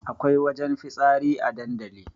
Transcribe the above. Akwai wajen fitsari a dandali